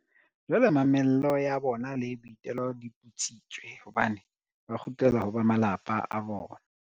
Jwale mamello ya bona le boitelo di putsitswe, hobane ba kgutlela ho ba malapa a bona.